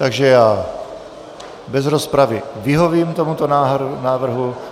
Takže já bez rozpravy vyhovím tomuto návrhu.